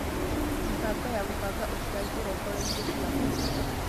Mĩbango ya gũbanga ũciari ũrongoreirie ciana